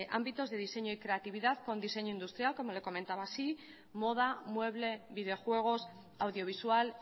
ámbitos de diseño y creatividad con diseño industrial como lo comentaba así moda mueble videojuegos audiovisual